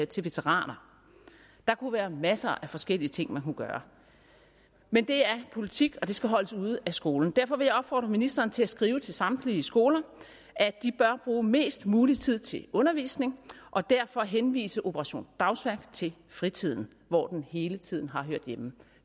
til veteraner der kunne være masser af forskellige ting man kunne gøre men det er politik og det skal holdes ude af skolen derfor vil jeg opfordre ministeren til at skrive til samtlige skoler at de bør bruge mest mulig tid til undervisning og derfor henvise operation dagsværk til fritiden hvor den hele tiden har hørt hjemme